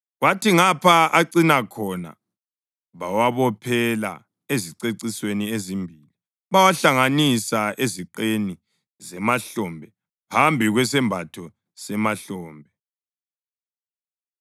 kwathi ngapha acina khona bawabophela ezicecisweni ezimbili, bawahlanganisa eziqeni zemahlombe phambi kwesembatho semahlombe.